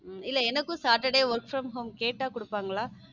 இல்லை எனக்கும் work saturday from home கேட்டா கொடுப்பாங்களா?